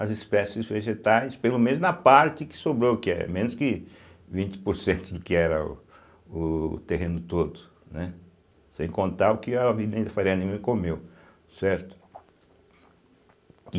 as espécies vegetais, pelo menos na parte que sobrou que é, menos que vinte por cento do que era o o terreno todo, né, sem contar o que a Avenida Faria Lima comeu, certo? e